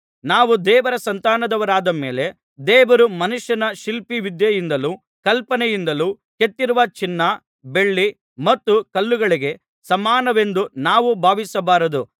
ನಾವು ದೇವರ ಸಂತಾನದವರಾದ ಮೇಲೆ ದೇವರು ಮನುಷ್ಯನ ಶಿಲ್ಪವಿದ್ಯೆಯಿಂದಲೂ ಕಲ್ಪನೆಯಿಂದಲೂ ಕೆತ್ತಿರುವ ಚಿನ್ನ ಬೆಳ್ಳಿ ಮತ್ತು ಕಲ್ಲುಗಳಿಗೆ ಸಮಾನವೆಂದು ನಾವು ಭಾವಿಸಬಾರದು